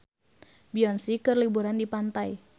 Beyonce keur liburan di pantai